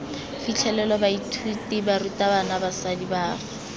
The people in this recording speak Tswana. fitlhelelwe baithuti barutabana basadi baagi